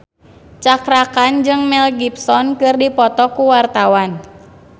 Cakra Khan jeung Mel Gibson keur dipoto ku wartawan